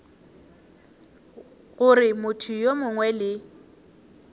gore motho yo mongwe le